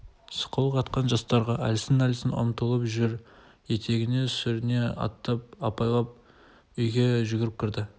сықылық атқан жастарға әлсін-әлсін ұмтылып жүр етегіне сүріне аттап апалап үйге жүгіріп кірді